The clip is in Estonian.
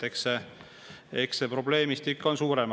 Eks see probleemistik ole suurem.